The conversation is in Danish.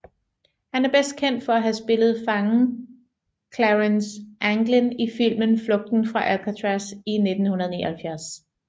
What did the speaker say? Han er bedst kendt for at have spillet fangen Clarence Anglin i filmen Flugten fra Alcatraz i 1979